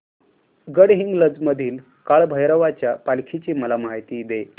गडहिंग्लज मधील काळभैरवाच्या पालखीची मला माहिती दे